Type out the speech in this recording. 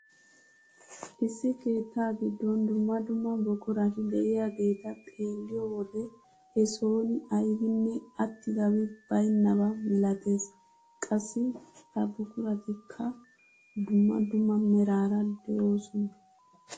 Issi keettaa giddon dumma dumma buqurati de'iyaageta xeelliyoo wode he soni aybinne attidabi baynnaba milatees. qassi ha buquratikka dumma dumma meraara de'oosona.